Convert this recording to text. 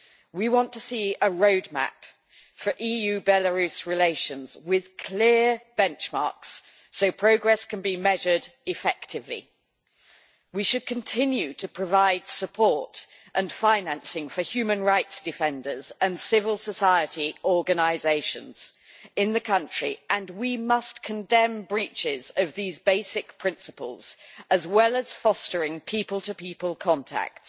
We want to see a road map for EU Belarus relations with clear benchmarks so progress can be measured effectively. We should continue to provide support and financing for human rights defenders and civil society organisations in the country, and we must condemn breaches of these basic principles as well as fostering people to people contacts.